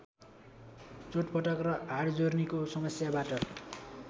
चोटपटक र हाडजोर्नीको समस्याबाट